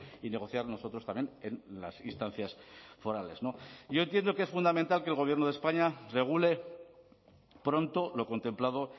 y negociar nosotros también en las instancias forales yo entiendo que es fundamental que el gobierno de españa regule pronto lo contemplado